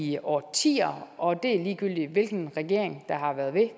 i årtier og det er ligegyldigt hvilken regering eller